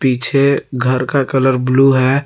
पीछे घर का कलर ब्लू है।